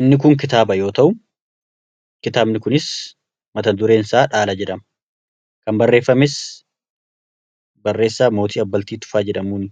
inni kun kitaaba yoo ta'u kitaabni kunis mata-dureen isaa dhaala jedhama kan barreeffames barreessaa Mootii Abbaltii Tufaa jedhamuun